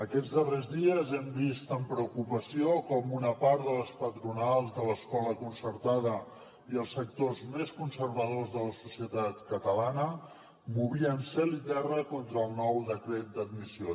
aquests darrers dies hem vist amb preocupació com una part de les patronals de l’escola concertada i els sectors més conservadors de la societat catalana movien cel i terra contra el nou decret d’admissió